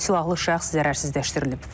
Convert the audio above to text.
Silahlı şəxs zərərsizləşdirilib.